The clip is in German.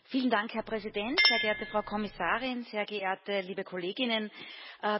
Herr Präsident, sehr geehrte Frau Kommissarin, sehr geehrte liebe Kolleginnen und Kollegen!